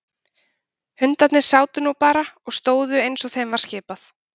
Hundarnir sátu nú bara og stóðu eins og þeim var skipað.